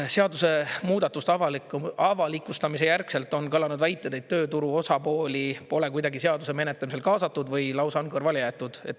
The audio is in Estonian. " Seaduse muudatuse avalikustamise järgselt on kõlanud väited, et tööturu osapooli pole kuidagi seaduse menetlemisel kaasatud või lausa on kõrvale jäetud.